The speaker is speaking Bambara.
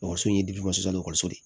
Ekɔliso in ye ekɔliso de ye